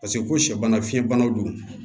Paseke ko sɛ bana fiɲɛbanaw don